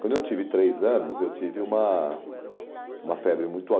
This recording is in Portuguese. Quando eu tive três anos, eu tive uma uma febre muito alta.